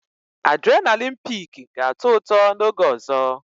Adrịnalịn piiki ga-atọ ụtọ n'oge ọzọ